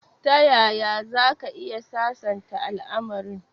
Tayaya zaka iya sasanta al'amarin?